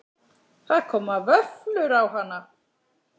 Það koma vöflur á hana.